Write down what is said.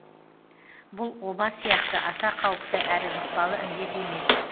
бұл оба сияқты аса қауіпті әрі жұқпалы індет емес